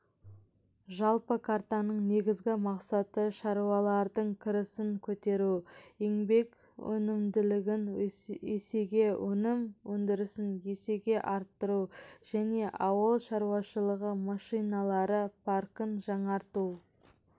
жалпы картаның негізгі мақсаты шаруалардың кірісін көтеру еңбек өнімділігін есеге өнім өндірісін есеге арттыру және ауыл шаруашылығы машиналары паркін жаңарту